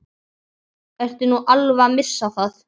Ertu nú alveg að missa það?